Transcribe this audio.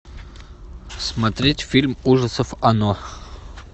смотреть фильм ужасов оно